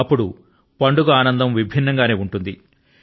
అప్పుడు పండుగ ఆనందం విభిన్నం గా ఉంటుంది